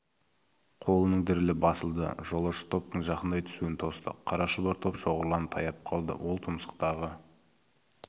қолының дірілі басылды жолаушы топтың жақындай түсуін тосты қара шұбар топ шоғырланып таяп қалды ол тұмсықтағы